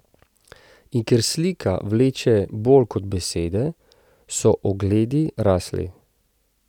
In ker slika vleče bolj kot besede, so ogledi rasli.